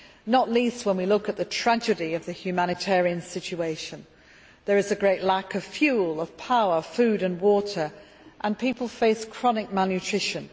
Not least when we look at the tragedy of the humanitarian situation there is a great lack of fuel, power, food and water, and people face chronic malnutrition.